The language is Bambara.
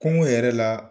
Kungo yɛrɛ la